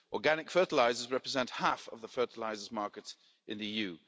Organic fertilisers represent half of the fertilisers' market in the